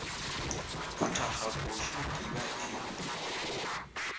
go thakga koša kiba e